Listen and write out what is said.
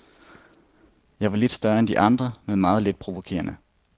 Jeg var lidt større end de andre men meget lidt provokerende.